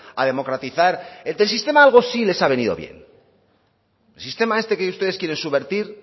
a democratizar del sistema algo sí les ha venido bien el sistema este que ustedes quieren subvertir